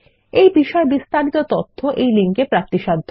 এই বিষয়ে বিস্তারিত তথ্য এই লিঙ্কে প্রাপ্তিসাধ্য